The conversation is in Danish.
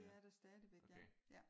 Det er der stadigvæk ja